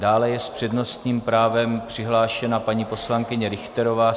Dále je s přednostním právem přihlášena paní poslankyně Richterová.